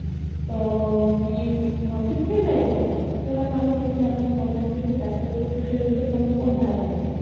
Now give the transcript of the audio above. ତ କି different type ର ଯୋଉଟାକୁ ଅମେ କେମିତି ଆମ government କେମିତି tackle କରୁଛି ସେଇ ବିଷୟରେ ତମର କଣ ଧାରଣା ଅଛି?